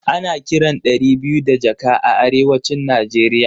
Ana kiran ɗari biyu da jaka a arewacin Nigeria